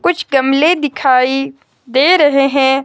कुछ गमले दिखाई दे रहे हैं।